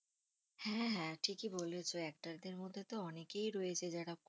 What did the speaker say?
হ্যাঁ হ্যাঁ ঠিকই বলেছ actor দের মধ্যে তো অনেকেই রয়েছে, যারা